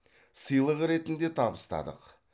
сыйлық ретінде табыстадық